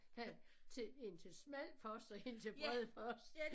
Der til 1 til smal post og 1 til bred post